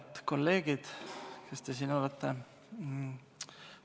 Head kolleegid, kes te siin olete!